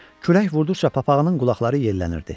Külək vurduqca papağının qulaqları yellənirdi.